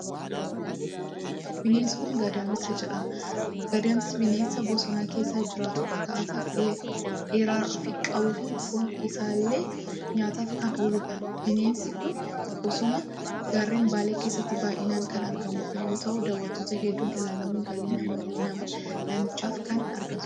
Bineensi kun Gadamsa jedhama. Gadamsi bineensa bosona keessa jiraatu kan gaafa dhedheeraa qabuu fi foon isaallee nyaataaf kan ooludha. Bineensi kun bosona gaarreen Baalee keessatti baay'inaan kan argamu yoo ta'u, daawwattoota hedduun ilaalamuun galii naannichaaf kan argamsiisudha.